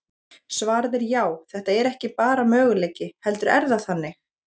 Svarið er já, þetta er ekki bara möguleiki, heldur er það þannig!